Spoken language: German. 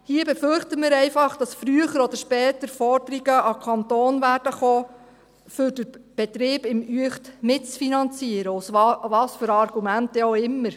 Hier befürchten wir einfach, dass früher oder später Forderungen an den Kanton kommen werden, um den Betrieb in Uecht mitzufinanzieren, mit welchen Argumenten dann auch immer.